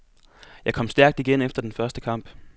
Jeg kom stærkt igen efter den første kamp.